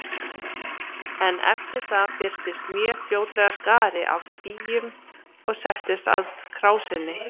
En eftir það birtist mjög fljótlega skari af býjum og settist að krásinni.